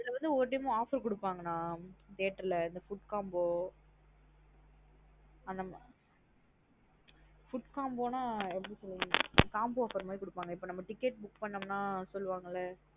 அதுவந்து ஒரு time உ offer குடுபாங்க நா theatre லா food combo அந்த மாத்ரி food combo நா எப்டி சொல்றது combo offer மாத்ரி குடுபாங்க இப்பா நம்ம ticket book பண்ணமுன்னா சொல்லுவாங்கலா?